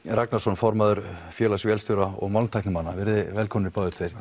Ragnarsson formaður félags vélstjóra og málmtæknimanna velkomnir